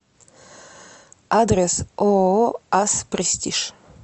адрес ооо ас престиж